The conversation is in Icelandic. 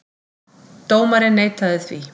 Dómarinn neitaði því.